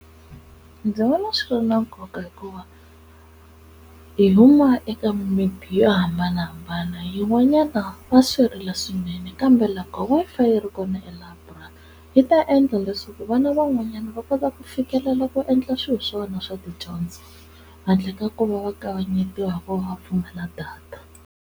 Ndzi vona swi ri na nkoka hikuva hi huma eka mimiti yo hambanahambana yin'wanyana va swi rila swinene kambe loko Wi-Fi yi ri kona elayiburari yi ta endla leswaku vana van'wanyana va kota ku fikelela ku endla swilo swa vona swa tidyondzo handle ka ku va va kavanyetiwa hikuva va pfumala data.